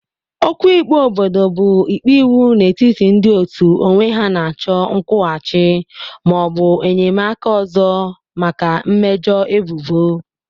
Okwu ikpe obodo bụ ikpe iwu n'etiti ndị otu onwe ha na-achọ nkwụghachi ma ọ bụ enyemaka ọzọ maka mmejọ ebubo.